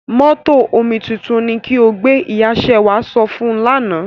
Mótò omituntun ni ki o gbé! Ìya Ṣewà sọ fún un lánà.